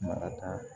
Maraka